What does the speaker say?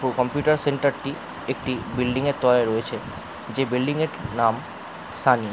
Computer সেন্টারটি একটি building -এর তলায় রয়েছে যে বিল্ডিং -এর নাম সানি ।